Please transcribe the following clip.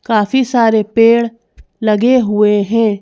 काफी सारे पेड़ लगे हुएं हैं।